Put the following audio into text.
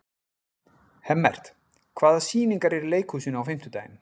Hemmert, hvaða sýningar eru í leikhúsinu á fimmtudaginn?